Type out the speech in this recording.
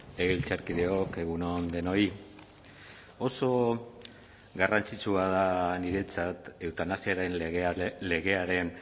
legebiltzarkideok egun on denoi oso garrantzitsua da niretzat eutanasiaren legearen